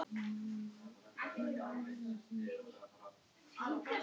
Ég veit að þér gekk gott eitt til, sagði hún.